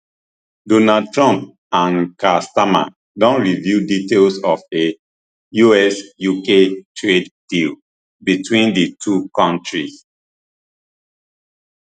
donald trump and keir starmer don reveal details of a usuk trade deal between di two kontries